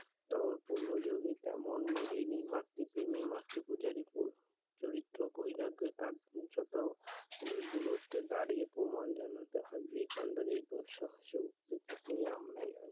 তেমন প্রেমী মাতৃ প্রেমী মাতৃ পূজারী মন চরিত্র বৈরাগ্যতার যত দূরত্বে দাঁড়িয়ে প্রণাম জানাতে হবে